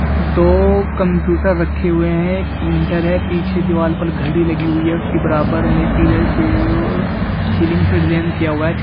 दो कंप्यूटर रखे हुए हैं एक प्रिंटर है पीछे दीवार पर घड़ी लगी हुई है उसकी बराबर में पिलर के ओ सीलिंग से डिजाईन किया हुआ है छत--